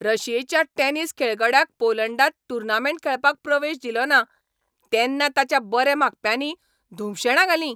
रशियेच्या टॅनिस खेळगड्याक पोलंडांत टूर्नामेंट खेळपाक प्रवेश दिलोना तेन्ना ताच्या बरे मागप्यांनी धुमशेणां घालीं.